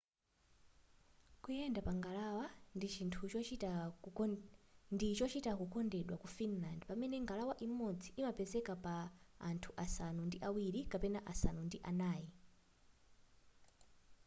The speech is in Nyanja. kuyenda pa ngalawa ndi chochita chokondedwa ku finland pamene ngalawa imodzi imapezeka pa anthu asanu ndi awiri kapena asanu ndi anai